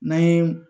N'an ye